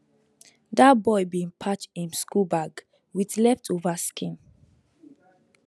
that boy bin patch him school bag with leftover skin